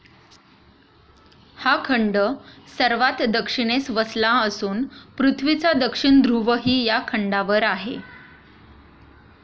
हा खंड सर्वात दक्षिणेस वसला असून पृथ्वीचा दक्षिण ध्रुवही या खंडावर आहे.